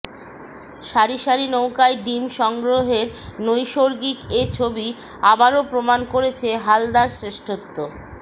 সারি সারি নৌকায় ডিম সংগ্রহের নৈসর্গিক এ ছবি আবারও প্রমাণ করেছে হালদার শ্রেষ্ঠত্ব